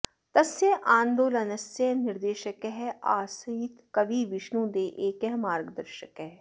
तस्य आन्दलनस्य निर्देशकः आसीत् कवि विष्णु देः एकः मार्गदर्शकः